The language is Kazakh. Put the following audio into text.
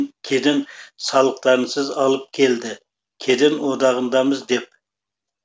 кеден салықтарынсыз алып келді кеден одағындамыз деп